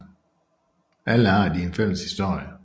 Alle har de en fælles historie